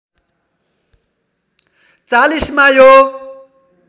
४० मा यो